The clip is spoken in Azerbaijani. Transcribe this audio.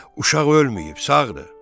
Uşaq ölməyib, sağdır.